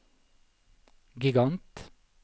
gigant